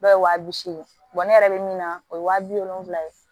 Dɔw ye wa bi seegi ne yɛrɛ bɛ min na o ye wa bi wolonfila ye